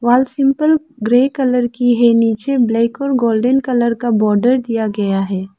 Simple grey colour की है नीचे ब्लैक और गोल्डन कलर का बॉर्डर दिया गया है।